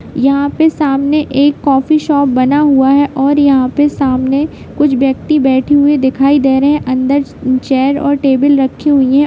यहाँ पे सामने एक कॉफी शॉप बना हुआ है और यहाँ पे सामने कुछ व्यक्ति बैठे हुए दिखाई दे रहे है अंदर चेयर और टेबल रखी हुई है।